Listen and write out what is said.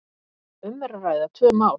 um er að ræða tvö mál.